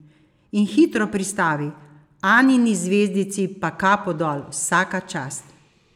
In hitro pristavi: "Anini zvezdici pa kapo dol, vsaka čast.